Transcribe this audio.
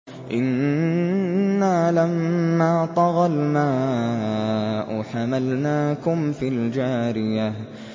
إِنَّا لَمَّا طَغَى الْمَاءُ حَمَلْنَاكُمْ فِي الْجَارِيَةِ